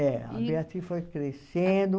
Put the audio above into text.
É, a Beatriz foi crescendo.